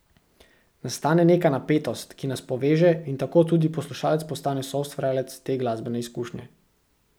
Nastane neka napetost, ki nas poveže in tako tudi poslušalec postane soustvarjalec te glasbene izkušnje.